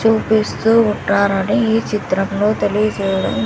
చూపిస్తూ ఉంటారని ఈ చిత్రంలో తెలియజేయడం--